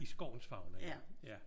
I skovens fauna ja. Ja